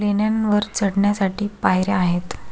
लेण्यानवर चढण्यासाठी पायर्या आहेत.